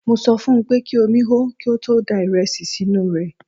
Mo sọ fun pé kí omi hó kí ó tó da ìrẹsì sínú rẹ̀.